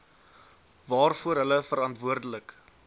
waarvoor hulle verantwoordelik